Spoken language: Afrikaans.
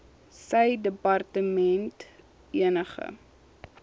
sy departement enige